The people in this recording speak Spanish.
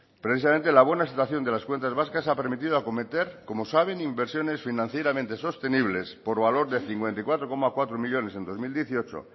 precisamente la buena situación de las cuentas vascas ha permitido acometer como saben inversiones financieramente sostenibles por valor de cincuenta y cuatro coma cuatro millónes en dos mil dieciocho